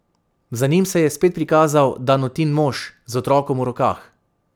Za njim se je spet prikazal Danutin mož z otrokom v rokah.